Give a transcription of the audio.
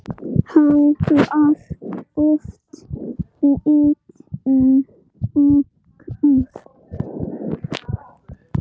Hann var oft litríkur.